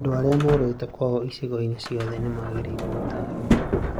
Andũ aria morite kwao icigo-ini ciothe nĩmagĩrĩirũo gũtarwo